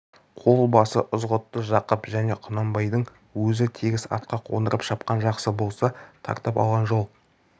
қол басы ызғұтты жақып және құнанбайдың өзі тегіс атқа қондырып шапқан жақсы болса тартып алған жол